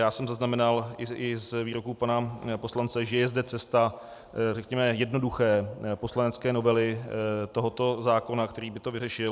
Já jsem zaznamenal i z výroků pana poslance, že zde je cesta, řekněme, jednoduché poslanecké novely tohoto zákona, který by to vyřešil.